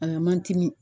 A la mandi